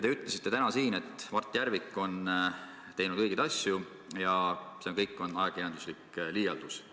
" Te ütlesite täna siin, et Mart Järvik on teinud õigeid asju ja see kõik on ajakirjanduslik liialdus.